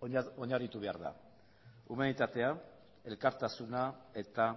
oinarritu behar da humanitatea elkartasuna eta